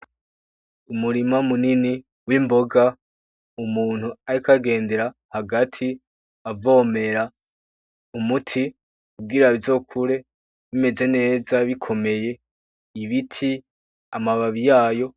Umurima munini w'imboga, umuntu ariko agendera hagati avomera umuti, kugira bizokure bimeze neza bikomeye , ibiti amababi yayo.